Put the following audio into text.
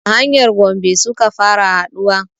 A hanyar gombe suka fara haɗuwa